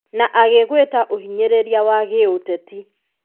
na agĩgwĩta ũhinyĩrĩria wa gĩũteti.